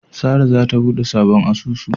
Sara zata bude sabon asusu.